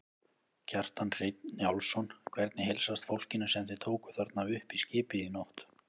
Kjartan Hreinn Njálsson: Hvernig heilsast fólkinu sem þið tókuð þarna upp í skipið í nótt?